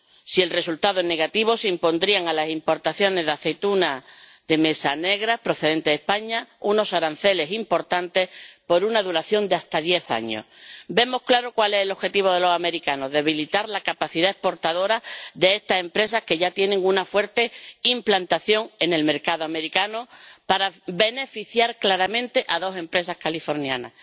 Si el resultado es negativo, se impondrían a las importaciones de aceituna de mesa negra procedente de España unos aranceles importantes, por una duración de hasta diez años. Vemos claro cuál es el objetivo de los estadounidenses debilitar la capacidad exportadora de estas empresas, que ya tienen una fuerte implantación en el mercado estadounidense, para beneficiar claramente a dos empresas californianas.